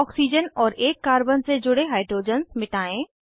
एक ऑक्सीजन और एक कार्बन से जुड़े हाइड्रोजन्स मिटायें